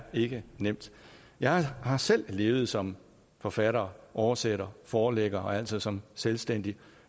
ikke nemt jeg har selv levet som forfatter oversætter forlægger og altså som selvstændig